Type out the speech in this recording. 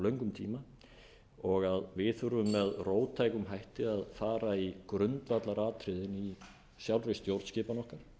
löngum tíma og að við þurfum með róttækum hætti að fara í grundvallaratriðin í sjálfri stjórnskipan okkar